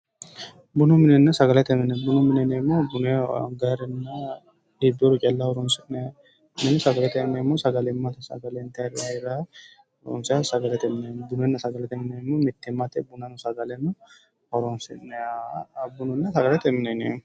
Bunu minenna sagalete mine, bunu mine yineemohu bunaho agayiirenna iiboyoore calla horoosi'nanniha, sagalete mineeti yinannihu sagalimatte intayira heeraho, bununna sagalette mine yineemohu mitteenni bunanno sagalenno horonsi'nayiha bununa sagalete mine yineemo.